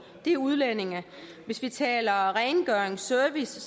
er udlændinge hvis vi taler rengøring og service